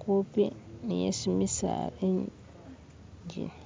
kupi ni hesi misaala jili